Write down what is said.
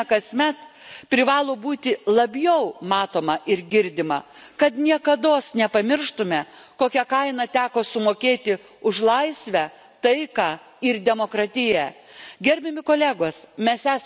Europos atminties diena, kurią minime kasmet, privalo būti labiau matoma ir girdima, kad niekados nepamirštume kokią kainą teko sumokėti už laisvę, taiką ir demokratiją.